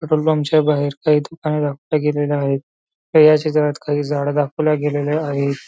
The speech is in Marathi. पेट्रोल पंप च्या बाहेर काही दुकाने दाखवली गेलेले आहे तर या चित्रात काही झाडं दाखवल्या गेलेलेल्या आहेत.